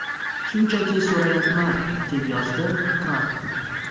Shunchaki so‘rayapman!”, deb yozdi Tramp.